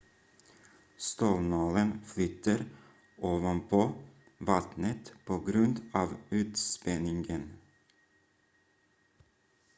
stålnålen flyter ovanpå vattnet på grund av ytspänningen